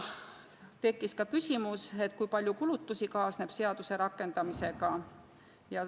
Tekkis ka küsimus, kui palju kulutusi kaasneb seaduse rakendamisega.